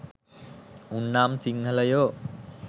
උන් නම් සිංහලයෝ